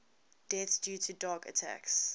deaths due to dog attacks